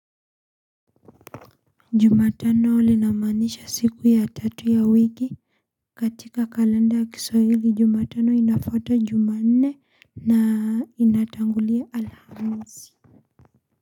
Jumatano inamanisha siku ya tatu ya wiki katika kalenda ya kiswahili jumatano inafata jumane na inatangulia alhamisi.